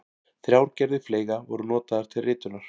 Þrjár gerðir fleyga voru notaðar til ritunar.